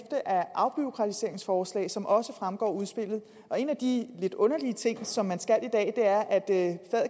af afbureaukratiseringsforslag som det også fremgår af udspillet en af de lidt underlige ting som man skal i dag er at det